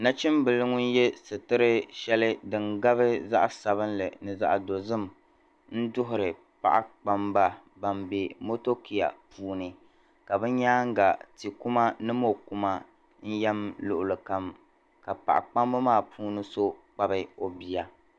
Nachimbila ŋun ye sitir' shɛli din gabi zaɣ' sabilinli ni zaɣ' dozim n-duhiri paɣikpamba bam be motokia puuni ka bɛ nyaaŋga tikuma ni mɔkuma n-yɛm luɣili kam ka paɣilpamba maa puuni so kpabi o bia.